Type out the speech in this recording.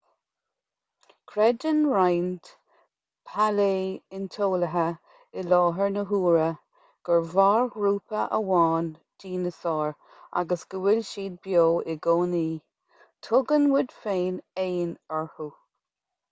creideann roinnt pailé-ointeolaithe i láthair na huaire gur mhair grúpa amháin dineasáir agus go bhfuil siad beo i gcónaí tugann muid éin orthu